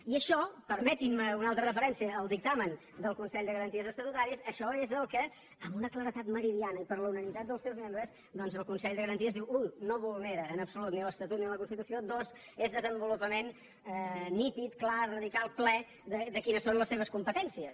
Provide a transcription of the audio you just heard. i això permetin me una altra referència al dictamen del consell de garanties estatutàries això és el que amb una claredat meridiana i per la unanimitat dels seus membres doncs el consell de garanties diu u no vulnera en absolut ni l’estatut ni la constitució dos és desenvolupament nítid clar radical ple de quines són les seves competències